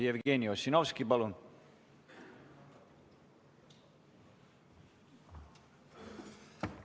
Jevgeni Ossinovski, palun!